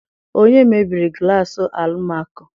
Onye mebiri glassị Almako?